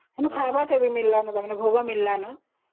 ମାନେ ଖାଇବା ଓ ଭୋଗ ମିଳିଲାଣି